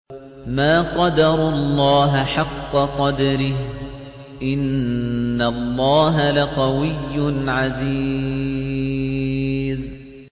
مَا قَدَرُوا اللَّهَ حَقَّ قَدْرِهِ ۗ إِنَّ اللَّهَ لَقَوِيٌّ عَزِيزٌ